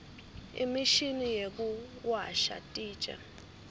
imishini yekuwasha titja